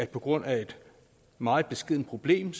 på grund af et meget beskedent problem